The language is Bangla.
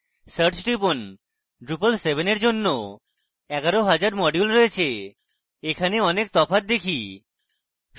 search টিপুন drupal 7 এর জন্য 11000 modules রয়েছে এখানে অনেক তফাৎ দেখি